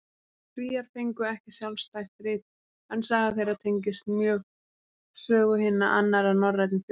Svíar fengu ekki sjálfstætt rit, en saga þeirra tengist mjög sögu hinna annarra norrænu þjóða.